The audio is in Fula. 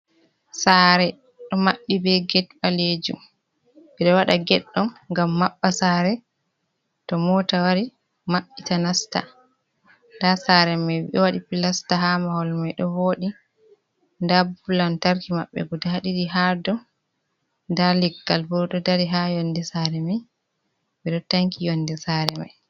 Sare ɗo maɓɓi be ged ɓalejum. Ɓeɗo waɗa ged ɗo ngam maɓɓa sare to mota wari maɓɓita nasta. Nda sare mai waɗi pilasta ha mahol mai ɗo voɗi, nda bulb lantarki maɓɓe guda ɗiɗi ha dou, nda leggal bo ɗo dari ha yonde sare mai. Ɓeɗo tanki yonde sare mai.